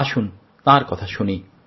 আসুন তাঁর কথা শুনি